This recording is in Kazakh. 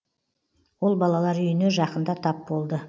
ол балалар үйіне жақында тап болды